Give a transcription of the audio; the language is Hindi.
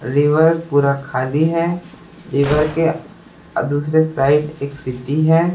रिवर पूरा--